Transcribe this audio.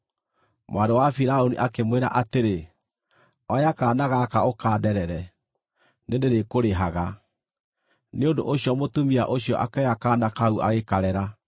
Mwarĩ wa Firaũni akĩmwĩra atĩrĩ, “Oya kaana gaka ũkanderere, nĩndĩrĩkũrĩhaga.” Nĩ ũndũ ũcio mũtumia ũcio akĩoya kaana kau agĩkarera.